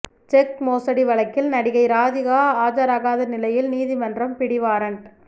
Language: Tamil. செக் மோசடி வழக்கில் நடிகை ராதிகா ஆஜராகாத நிலையில் நீதிமன்றம் பிடிவாரண்ட்